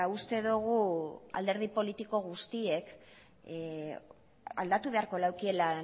uste dugu alderdi politiko guztiek aldatu beharko lekiela